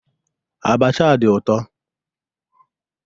Abacha a di ụtọ.